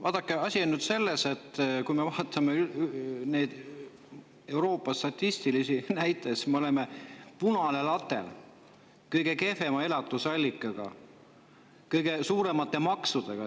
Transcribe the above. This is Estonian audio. Vaadake, asi on selles, et kui me vaatame Euroopa statistilisi näitajaid, siis me oleme punane latern, kõige kehvema elatus, kõige suuremate maksudega.